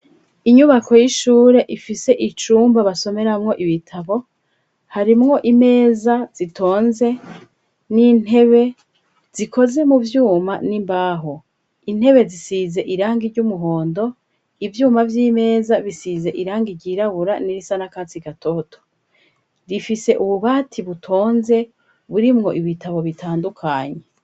Inyubako y'ishure ifise icumba basomeramwo ibitabo, harimwo imeza zitonze n'intebe zikoze mu vyuma n'imbaho, intebe zisize irangi ry'umuhondo, ivyuma vy'imeza bisize irangi ryirabura n'irisa n'akatsi gatoto, rifise ububati butonze burimwo ibitabo bitandukanye.